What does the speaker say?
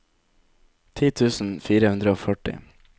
ti tusen fire hundre og førti